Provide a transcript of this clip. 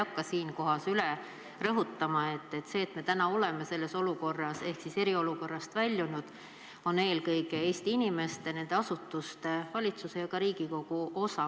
Ma ei hakka üle rõhutama, et selles, et me täna oleme selles olukorras ehk eriolukorrast väljunud, on kõige suurem eelkõige Eesti inimeste, asutuste, valitsuse ja ka Riigikogu osa.